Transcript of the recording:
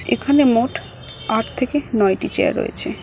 এখানে মোট আট থেকে নয়টি চেয়ার রয়েছে।